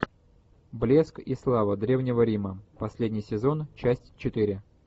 блеск и слава древнего рима последний сезон часть четыре